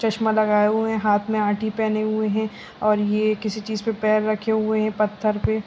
चश्मा लगाए हुए हैं हाथ में आठी पहनी हुई है और ये किसी चीज पर पैर रखे हुए हैं पत्थर पे।